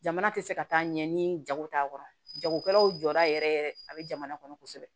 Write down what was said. Jamana tɛ se ka taa ɲɛ ni jago t'a kɔrɔ jagokɛlaw jɔra yɛrɛ yɛrɛ a bɛ jamana kɔnɔ kosɛbɛ